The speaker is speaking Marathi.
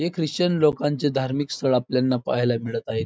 हे ख्रिश्चन लोकांच धार्मिक स्थळ आपल्याला पाहायला मिळत आहे.